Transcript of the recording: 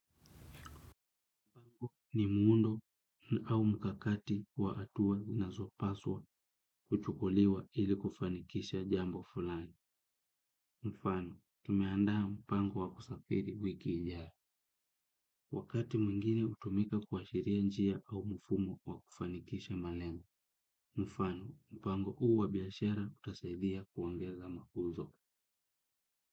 Ni muundo au mkakati wa atuwa inazopaswa kuchukuliwa ili kufanikisha jambo fulani. Mfano, tumeandaa mpango wa kusafiri wiki ijayo. Wakati mwingine hutumika kuashiria njia au mfumo wa kufanikisha malengo. Mfano, mpango h uuwa biashara utasaidhia kuongeza mauzo.